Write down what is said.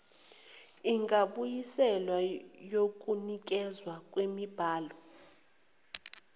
engabuyiselwa yokunikezwa kwemibhalo